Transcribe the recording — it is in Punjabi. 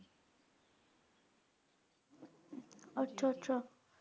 ਅੱਛਾ ਅੱਛਾ